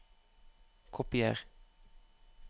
Kopier